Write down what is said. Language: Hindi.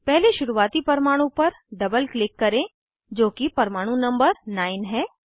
पहले शुरुवाती परमाणु पर डबल क्लिक करें जो कि परमाणु नंबर 9 है